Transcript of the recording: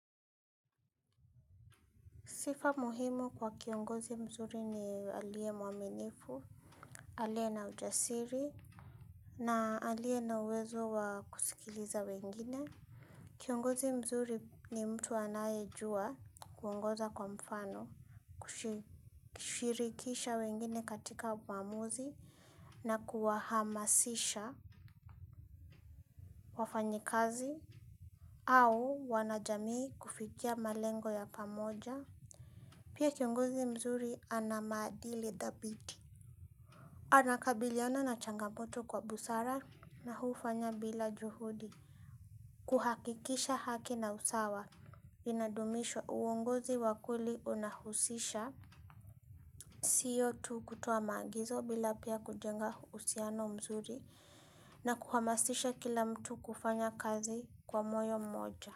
Sifa muhimu kwa kiongozi mzuri ni aliye mwaminifu, aliye na ujasiri, na aliye na uwezo wa kusikiliza wengine. Kiongozi mzuri ni mtu anayejua kuongoza kwa mfano, kushirikisha wengine katika maamuzi, na kuwahamasisha wafanyikazi, au wanajamii kufikia malengo ya pamoja. Pia kiongozi mzuri ana maadili dhabiti. Anakabiliana na changamoto kwa busara na hufanya bila juhudi. Kuhakikisha haki na usawa. Inadumishwa, uongozi wa kweli unahusisha. Siyo tu kutoa maagizo bila pia kujenga uhusiano mzuri na kuhamasisha kila mtu kufanya kazi kwa moyo mmoja.